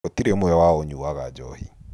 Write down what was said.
Gũtirĩ ũmwe wao ũnyuaga njohi